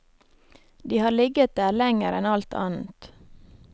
De har ligget der lenger enn alt annet.